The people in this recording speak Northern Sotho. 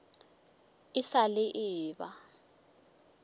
e sa le e eba